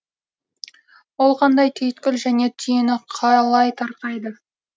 ол қандай түйткіл және түйіні қалай тарқайды